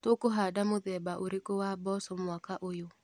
Tũkũhanda mũthemba ũrĩkũ wa mboco mwaka ũyũ.